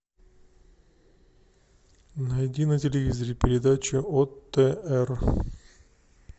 найди на телевизоре передачу отр